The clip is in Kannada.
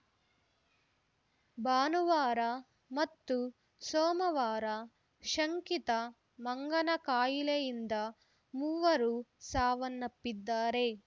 ಭಾನುವಾರ ಮತ್ತು ಸೋಮವಾರ ಶಂಕಿತ ಮಂಗನಕಾಯಿಲೆಯಿಂದ ಮೂವರು ಸಾವನ್ನಪ್ಪಿದ್ದಾರೆ